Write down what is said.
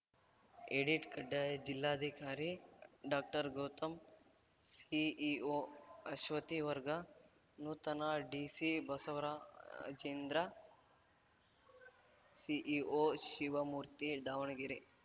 edit ಕಡ್ಡಾಯ ಜಿಲ್ಲಾಧಿಕಾರಿ ಡಾಕ್ಟರ್ಗೌತಮ್‌ CEO Ashwathi ವರ್ಗಾ ನೂತನ ಡಿಸಿ ಬಸವರಾಜೇಂದ್ರ ಸಿಇಓ ಶಿವಮೂರ್ತಿ ದಾವಣಗೆರೆ